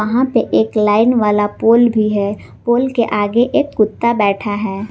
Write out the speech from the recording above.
यहां पे एक लाइन वाला पुल भी है पुल के आगे एक कुत्ता बैठा है।